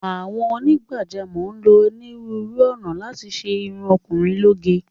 Àwọn onígbàjámọ̀ ń lo onírúurú ọ̀nà láti ṣe irun ọkùnrin lóge.